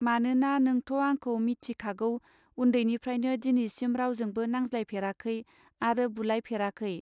मानोना नोंथ' आंखौ मिथिखागौ उन्दैनिफ्रायनो दिनैसिम रावजोंबो नांज्लाय फेराखै आरो बुलाय फेराखै!.